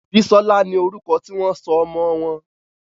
Bisola no orúkọ tí wón sọ ọmọ wón.